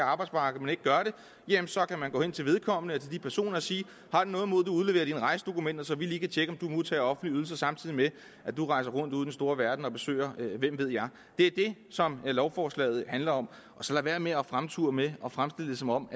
arbejdsmarked men ikke gør det jamen så kan man gå hen til vedkommende personer og sige har du noget mod at udlevere dine rejsedokumenter så vi lige kan tjekke om du modtager offentlige ydelser samtidig med at du rejser rundt ude i den store verden og besøger hvem ved jeg det er det som lovforslaget handler om så lad være med at fremture med at fremstille det som om